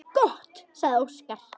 Gott, sagði Óskar.